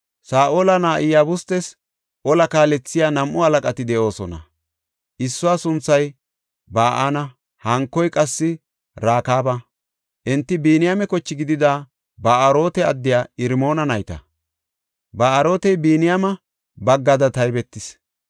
Saa7ola na7aa Iyabustes ola kaalethiya nam7u halaqati de7oosona; issuwa sunthay Ba7ana; hankoy qassi Rakaaba. Enti Biniyaame koche gidida Ba7aarote addiya Irmoona nayta. Ba7aarotey Biniyaame baggada taybetees.